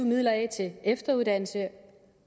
midler af til efteruddannelse